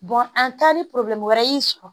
an taa ni wɛrɛ y'i sɔrɔ